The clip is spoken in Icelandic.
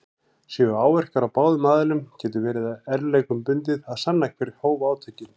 Séu áverkar á báðum aðilum getur verið erfiðleikum bundið að sanna hver hóf átökin.